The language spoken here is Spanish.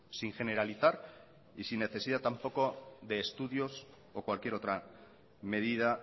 sin generalizar y sin necesidad tampoco de estudios o cualquier otra medida